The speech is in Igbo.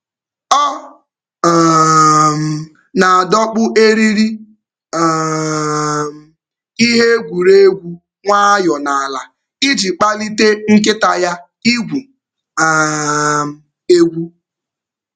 Ọ na-adọkpụ eriri ihe egwuregwu nwayọọ n’ala iji kpalite nkịta ya igwu egwu.